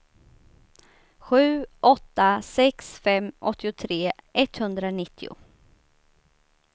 sju åtta sex fem åttiotre etthundranittio